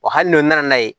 Wa hali n'o nana n'a ye